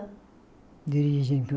De origem